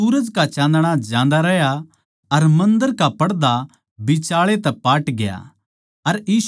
अर सूरज का चाँदणा जांदा रह्या अर मन्दर का पड़दा बिचाळै तै पाटग्या